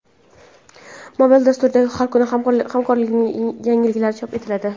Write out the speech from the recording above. Mobil dasturda har kuni hamkorlarning yangiliklari chop etiladi.